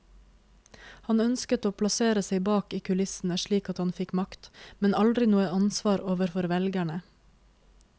Han ønsket å plassere seg bak i kulissene slik at han fikk makt, men aldri noe ansvar overfor velgerne.